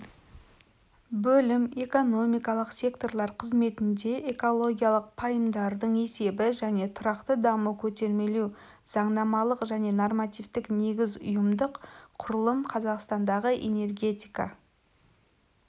бөлім экономикалық секторлар қызметіндегі экологиялық пайымдардың есебі және тұрақты дамуды көтермелеу заңнамалық және нормативтік негіз ұйымдық құрылым қазақстандағы энергетика